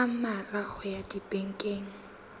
a mmalwa ho ya dibekeng